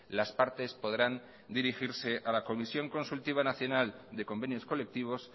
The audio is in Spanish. las partes podrán dirigirse a la comisión consultiva nacional de convenios colectivos